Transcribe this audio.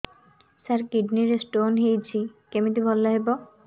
ସାର kidney ରେ stone ହେଇଛି କମିତି ଭଲ ହେବ